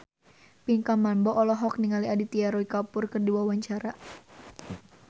Pinkan Mambo olohok ningali Aditya Roy Kapoor keur diwawancara